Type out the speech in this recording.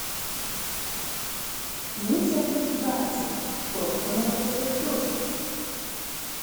муся тотибадзе кто остановит этот дождь